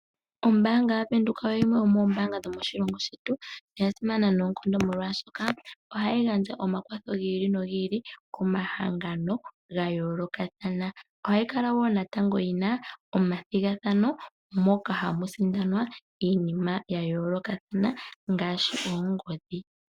Ombaanga yaVenduka oyo yimwe yomoombanga dho moshilongo shetu yasimana noonkondo molwashoka ohayi gandja omakwatho gi ili no gi ili komahangano gayoolokathana. Ohayi kala wo natango yina omathigathano moka hamu sindanwa iinima yayooloka ngaashi oongodhi.